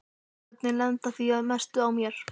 Börnin lenda því að mestu á mér.